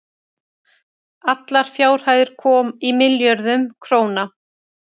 allar fjárhæðir í milljörðum króna